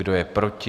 Kdo je proti?